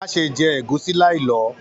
Má ṣe jẹ ẹ̀gúsí láì lọ!